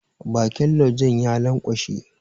Bakin laujen ya lanƙwashe.